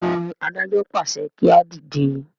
béèni adájọ pàṣẹ kí a dìde.